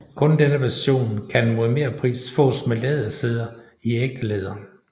Kun denne version kan mod merpris fås med lædersæder i ægte læder